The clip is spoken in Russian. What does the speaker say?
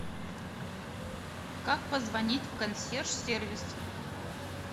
как позвонить в консьерж сервис